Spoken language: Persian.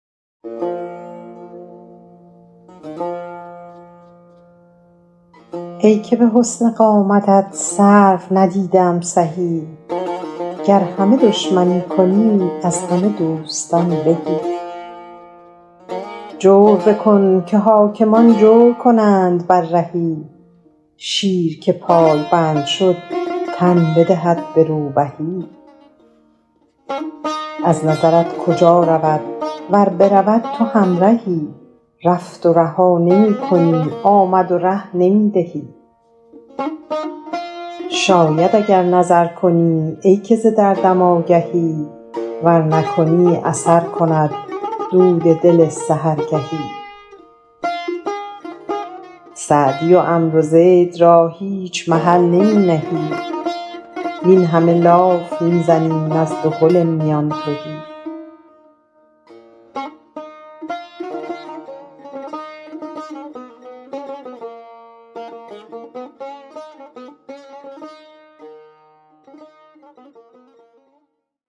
ای که به حسن قامتت سرو ندیده ام سهی گر همه دشمنی کنی از همه دوستان بهی جور بکن که حاکمان جور کنند بر رهی شیر که پایبند شد تن بدهد به روبهی از نظرت کجا رود ور برود تو همرهی رفت و رها نمی کنی آمد و ره نمی دهی شاید اگر نظر کنی ای که ز دردم آگهی ور نکنی اثر کند دود دل سحرگهی سعدی و عمرو زید را هیچ محل نمی نهی وین همه لاف می زنیم از دهل میان تهی